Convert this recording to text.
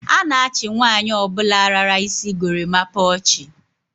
A na-achi nwaanyi obula lara isi gorimapa ochi.